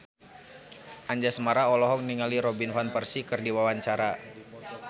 Anjasmara olohok ningali Robin Van Persie keur diwawancara